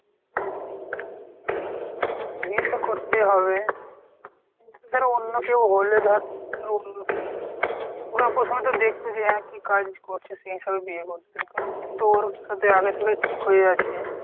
বিয়ে তো করতেই হবে। ধর অন্য কেউ হলে ধর ওরা প্রথমে তো দেখতো যে এর কী কাজ করছে সেই হিসেবে বিয়ে করতো কিন্তু ওর সাথে আগে থেকেই ঠিক হয়ে আছে।